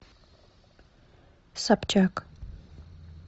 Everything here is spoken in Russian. собчак